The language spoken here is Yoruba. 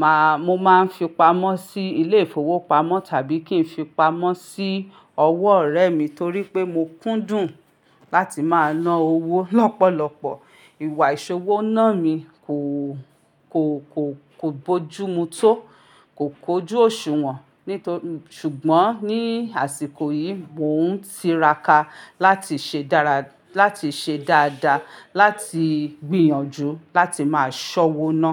màá, mo máa ń fi pamọ́ sí ilé ìfowópamọ́ tàbí kí n fi pamọ́ sí ọwọ́ ọ̀rẹ́ mi torí pé mo kúndùn láti máa ná owó lọ́pọ̀lọpọ̀. Ìwà ìṣowó náà mi kò, kò, kò, kò bójúmu tó, kò kójú òṣùwọ̀n. Nítorí, ṣùgbọ́n ní àsìkò yìí mò ń tiraka láti ṣe dára, láti ṣe dáadáa, láti gbìyànjú láti máa ṣọwo ná.